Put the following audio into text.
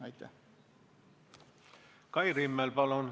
Kai Rimmel, palun!